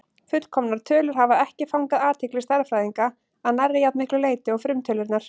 Fullkomnar tölur hafa ekki fangað athygli stærðfræðinga að nærri jafn miklu leyti og frumtölurnar.